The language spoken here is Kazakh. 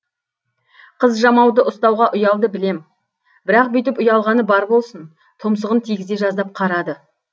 қыз жамауды ұстауға ұялды білем бірақ бүйтіп ұялғаны бар болсын тұмсығын тигізе жаздап қарады